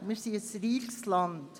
wir sind ein reiches Land.